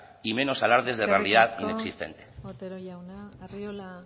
y menos alardes de realidad inexistente eskerrik asko otero jauna arriola